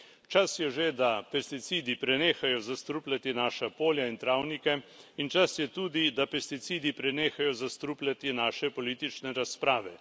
Čas je že, da pesticidi prenehajo zastrupljati naša polja in travnike, in čas je tudi, da pesticidi prenehajo zastrupljati naše politične razprave.